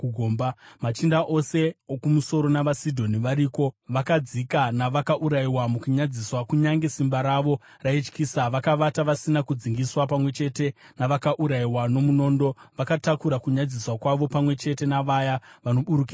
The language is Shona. “Machinda ose okumusoro navaSidhoni variko; vakadzika navakaurayiwa mukunyadziswa kunyange simba ravo raityisa. Vakavata vasina kudzingiswa pamwe chete navakaurayiwa nomunondo vakatakura kunyadziswa kwavo pamwe chete navaya vanoburukira kugomba.